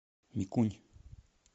микунь